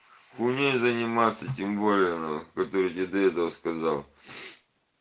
умеешь заниматься тем более который тебе это сказал